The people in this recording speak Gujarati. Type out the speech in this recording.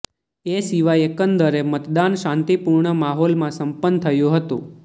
એ સિવાય એકંદરે મતદાન શાંતિપૂર્ણ માહોલમાં સંપન્ન થયું હતું